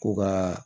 Ko ka